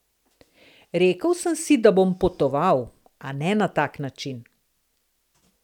Rekel sem si, da bom potoval, a ne na tak način.